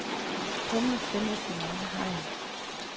Humle findes i mange hegn.